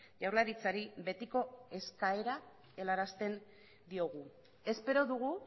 jaurlaritzari betiko eskaera helarazten diogu espero dugu